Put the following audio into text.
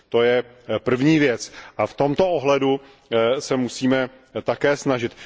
To je první věc a v tomto ohledu se musíme také snažit.